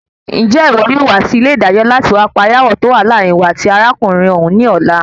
Njẹ iwọ yóò wá sí ilẹ ìdájọ láti wa parí aawọ tó wà láàárín iwọ àti arákùnrin òun ní ọ̀la?